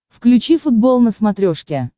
включи футбол на смотрешке